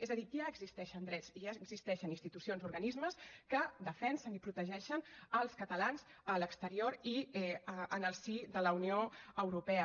és a dir ja existeixen drets ja existeixen institucions organismes que defensen i protegeixen els catalans a l’exterior i en el si de la unió europea